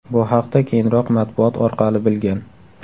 Bu haqda keyinroq matbuot orqali bilgan.